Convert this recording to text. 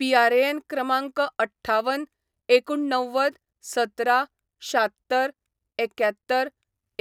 PRAN क्रमांक अठ्ठावन एकुणणव्वद सतरा शात्तर एक्यात्तर